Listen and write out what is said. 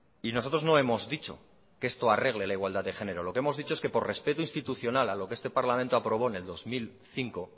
y nosotros no hemos dicho que esto arregle la igualdad de género lo que hemos dicho que por respeto institucional a lo que este parlamento aprobó en el dos mil cinco